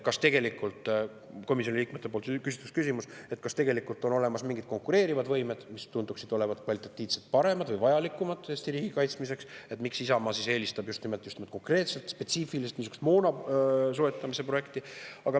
Tegelikult komisjoni liikmete küsimus oli, kas on olemas mingid konkureerivad võimed, mis tunduksid olevat kvalitatiivselt paremad või vajalikumad Eesti riigi kaitsmiseks, ja miks Isamaa eelistab just nimelt konkreetset, spetsiifilist moonasoetamise projekti.